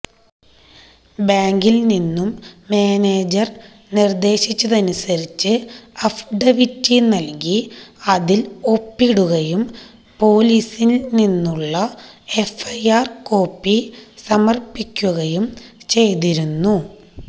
ബാങ്കില് നിന്നും മാനേജര് നിര്ദ്ദേശിച്ചതനുസരിച്ച് അഫ്ഡവിറ്റി നല്കി അതില് ഒപ്പിടുകയും പോലീസില് നിന്നുള്ള എഫ്ഐആര് കോപ്പി സമര്പ്പിക്കുകയും ചെയ്തിരുന്നു